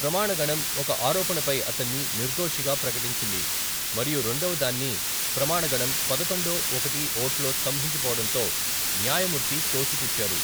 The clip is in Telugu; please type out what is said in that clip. ప్రమాణగణం ఒక ఆరోపణ పై అతన్ని నిర్దోషిగా ప్రకటించింది మరియు రెండవదాన్ని, ప్రమాణగణం పదకొండు ఒకటి ఓట్లో స్తంభించిపోవడంతో న్యాయమూర్తి తోసిపుచ్చారు.